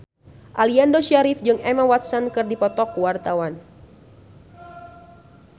Aliando Syarif jeung Emma Watson keur dipoto ku wartawan